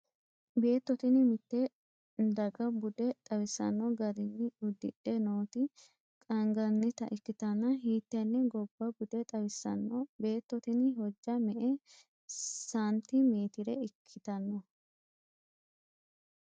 beetto tini mitte dagaha bude xawisanno garinni uddidhe nooti qaangannita ikkitanna, hiittenne gobba bude xawisanno? beetto tini hojja me''e saanti meetire ikkitanno?